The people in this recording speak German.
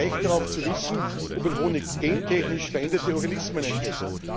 Sie haben ein Recht darauf zu wissen, ob ein Honig gentechnisch veränderte Organismen enthält.